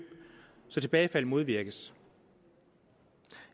så tilbagefald modvirkes